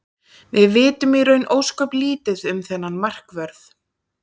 Við vitum í raun ósköp lítið um þennan markvörð.